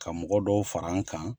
Ka mɔgɔ dɔw far'an kan.